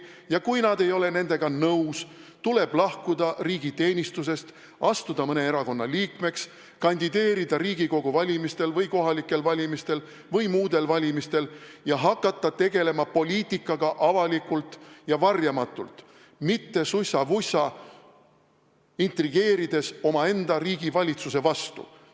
Ja kui nad ei ole nendega nõus, tuleb lahkuda riigiteenistusest, astuda mõne erakonna liikmeks, kandideerida Riigikogu valimistel või kohalikel valimistel või muudel valimistel ja hakata tegelema poliitikaga avalikult ja varjamatult, mitte sussa-vussa intrigeerides omaenda riigi valitsuse vastu.